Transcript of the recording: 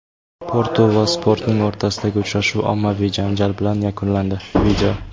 "Portu" va "Sporting" o‘rtasidagi uchrashuv ommaviy janjal bilan yakunlandi.